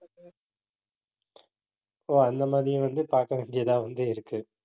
ஓ, அந்த மாதிரி வந்து பார்க்க வேண்டியதா வந்து இருக்கு